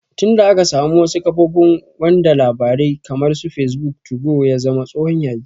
Tin da aka samu wasu kafofin wanda labarai kamar su fesbuk, tugo ya zama tsohon yayi